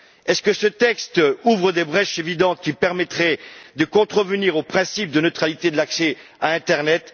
Est ce que ce texte ouvre des brèches évidentes qui permettraient de contrevenir au principe de neutralité de l'accès à internet?